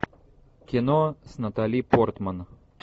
кино с натали портман